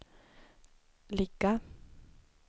ligga